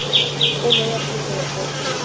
kgolo la puso ya gauteng